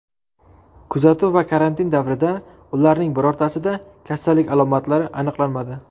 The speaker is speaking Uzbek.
Kuzatuv va karantin davrida ularning birortasida kasallik alomatlari aniqlanmadi.